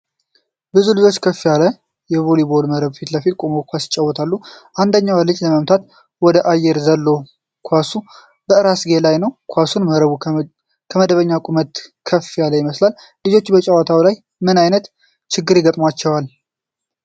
ብዙ ልጆች ከፍ ያለ የቮሊቦል መረብ ፊት ቆመው ኳስ ይጫወታሉ። አንደኛው ልጅ ለመምታት ወደ አየር ዘሎ ኳሱ ከራስጌው ላይ ነው። ኳሱና መረቡ ከመደበኛው ቁመት ከፍ ያሉ ይመስላል። ልጆቹ በጨዋታው ላይ ምን አይነት ችግር ይገጥማቸዋል?